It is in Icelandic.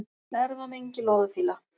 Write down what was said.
Erfðamengi loðfíla